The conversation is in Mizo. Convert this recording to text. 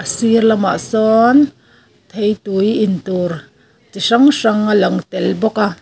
a sir lamah sawn theitui intur chi hrang hrang a lang tel bawk a.